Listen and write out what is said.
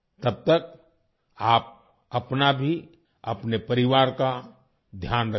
तब तक आप अपना भी अपने परिवार का ध्यान रखिए